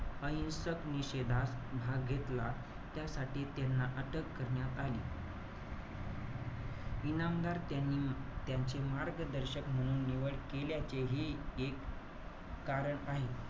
अहिसंक निषेदास भाग घेतला. त्यासाठी त्यांना अटक करण्यात आली. इनामदार त्यांनी त्यांचे मार्गदर्शक म्हणून निवड केल्याचे हे एक कारण आहे.